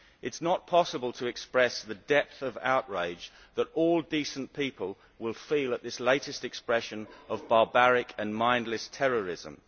It is not possible to express the depth of outrage that all decent people will feel at this latest expression of barbaric and mindless terrorism.